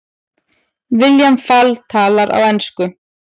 William Fall talar á ensku.